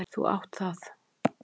Þú átt það!